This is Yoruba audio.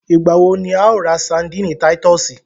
Ìgbà wo ni a ó ra sandíìnì Titúsìì